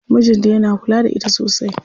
Mijin ta yana kula da ita sosai.